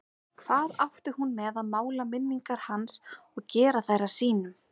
Hvað átti hún með að mála minningar hans og gera þær að sínum?